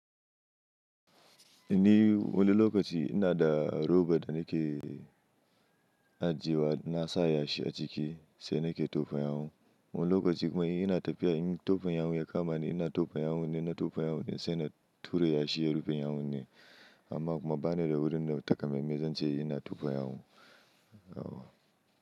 Ni wani lokaci ina da robot da nake ajiye wa na sa ya shi a ciki sai nake tofa yawon. Wani lokaci kuma ina tafiya in tofa yawon ya kama ni ina tofa yawon ne, na tofa yawon ne sai na tura ya shi ya rufe yawon ne. Amma kuma bani da wurin da takamaimai zan ce ina tofa yawun.